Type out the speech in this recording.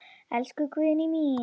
Elsku Guðný mín.